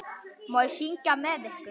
Má ég syngja með ykkur?